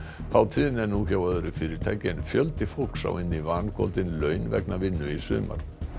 hátíðin er nú hjá öðru fyrirtæki en fjöldi fólks á inni vangoldin laun vegna vinnu í sumar